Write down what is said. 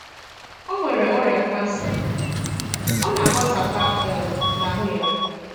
O nwere ọrìà kansà, ọ na-àgbàsàkà um n'ahụ́ ya